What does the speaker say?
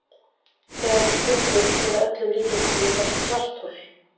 Þegar hún springur mun að öllum líkindum myndast svarthol.